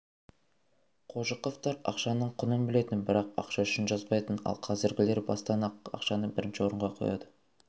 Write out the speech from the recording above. қожықовтар ақшаның құнын білетін бірақ ақша үшін жазбайтын ал қазіргілер бастан-ақ ақшаны бірінші орынға қояды